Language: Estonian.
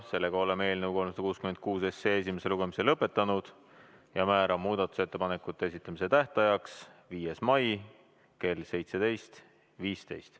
Sellega oleme eelnõu 366 esimese lugemise lõpetanud ja määran muudatusettepanekute esitamise tähtajaks 5. mai kell 17.15.